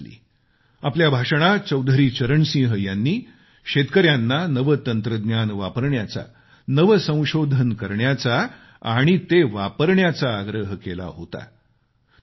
1979 साली आपल्या भाषणात चौधरी चरण सिंह यांनी शेतकऱ्यांना नवे तंत्रज्ञान वापरण्याचा नवे संशोधन करण्याचा ते वापरण्याचा आग्रह केला होता